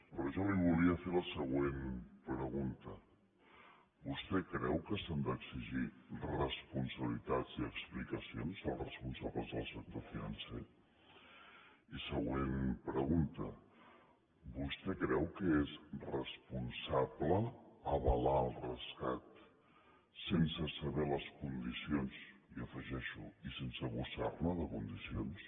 però jo li volia fer la següent pregunta vostè creu que s’han d’exigir responsabilitats i explicacions als responsables del sector financer i següent pregunta vostè creu que és responsable avalar el rescat sense saber les condi·cions i afegeixo i sense buscar·ne de condicions